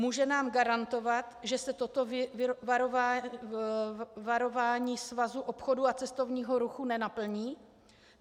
Může nám garantovat, že se toto varování Svazu obchodu a cestovního ruchu nenaplní?